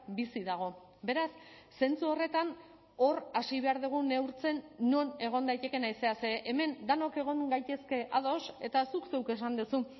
bizi dago beraz zentzu horretan hor hasi behar dugu neurtzen non egon daitekeen haizea ze hemen denok egon gaitezke ados eta zuk zeuk esan duzu